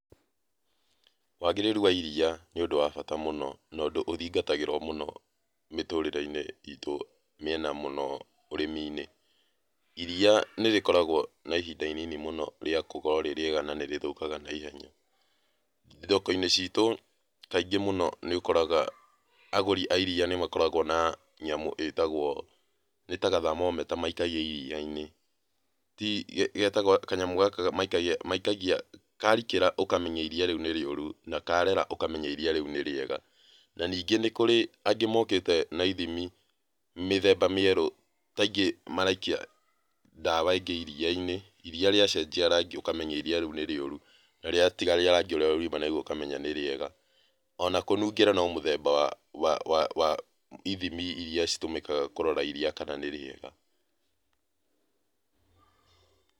Wagĩrĩru wa iria, nĩ ũndũ wa bata mũno, na ũndũ ũthingatagĩrwo mũno mĩtũrĩreini itũ, miena mũno ũrĩmi-inĩ. Iria nĩ rĩkoragwo na ihinda inini mũno rĩa gũkorwo rĩ rĩega na nĩrĩthũkaga na ihenya. Thoko-inĩ ciitũ kaingĩ muno nĩ ũkoraga agũri a iria nũmakoragwo na nyamũ ĩtagwo, nĩta ga thermometer maikagia iria-inĩ, ti, getagwo, kanyamũ gaka maikagia, karikĩra ũkameenya iria rĩu nĩ rĩũru. Na karera ũkamenya iria rĩu nĩ riega. Na ningĩ nĩ kũrĩ angĩ mokĩte na ithimi mĩthemba mĩerũ taĩngĩ maraikia dawa ingĩ iria-inĩ, iria rĩa cenjia rangi ukamenya iria rĩu nĩ rĩũru. Na rĩatiga rangi ũrĩa riuma narĩo ũkamenya nĩ rĩega. Ona kũnungĩra no mũthemba wa, wa ithimi iria ihũthikaga kũrora iria kana nĩ rĩega.